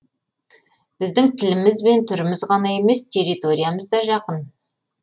біздің тіліміз бен түріміз ғана емес территориямыз да жақын